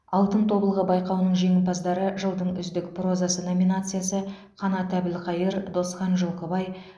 алтын тобылғы байқауының жеңімпаздары жылдың үздік прозасы номинациясы қанат әбілқайыр досхан жылқыбай